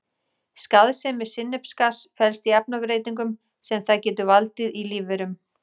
Skaðsemi sinnepsgass felst í efnabreytingum sem það getur valdið í lífverum.